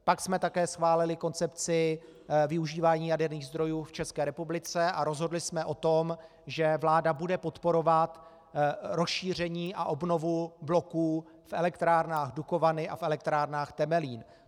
Pak jsme také schválili koncepci využívání jaderných zdrojů v České republice a rozhodli jsme o tom, že vláda bude podporovat rozšíření a obnovu bloků v elektrárnách Dukovany a v elektrárnách Temelín.